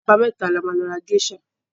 Ọjọ́ àbámẹ́ta la máa lọ ra géṣà.